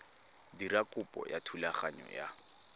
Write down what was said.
dira kopo ya thulaganyo ya